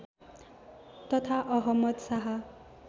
तथा अहमद शाह